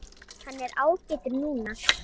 Hann er ágætur núna.